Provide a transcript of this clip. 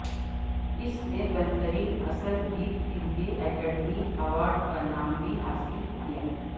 اس نے بہترین اصل گیت کے لئے اکیڈمی ایوارڈ کا نام بھی حاصل کیا